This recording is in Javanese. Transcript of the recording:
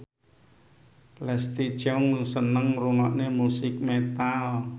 Leslie Cheung seneng ngrungokne musik metal